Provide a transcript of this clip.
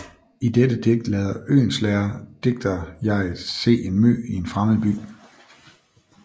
I dette digt lader Oehlenschläger digterjeget se en mø i en fremmed by